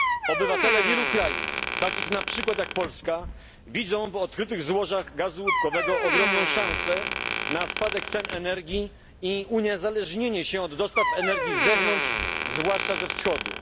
Obywatele wielu krajów, takich na przykład jak Polska, widzą w odkrytych złożach gazu łupkowego ogromną szansę na spadek cen energii i uniezależnienie się od dostaw energii z zewnątrz, zwłaszcza ze Wschodu.